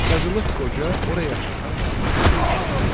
Qazılıq Qoca oraya çatan kimi döyüşə başladı.